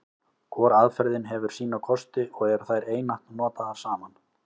Hvor aðferðin hefur sína kosti, og eru þær einatt notaðar saman.